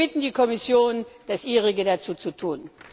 Wir bitten die Kommission das Ihrige dazu zu tun.